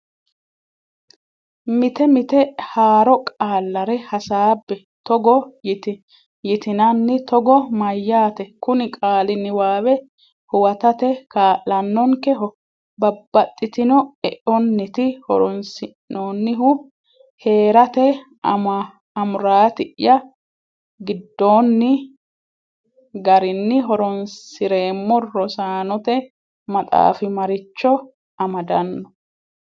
Mite mite haaro qaallare hasaabbe; togo yitinanni Togo mayyaate? Kuni qaali niwaawe huwatate kaa’lannonkeho? Babbaxxitino eonniiti horonsi’noonnihu? Hee’rate amuraati’ya giddoonni garinni horonsi’reemmo Rosaanote Maxaafi Maricho Amadanno?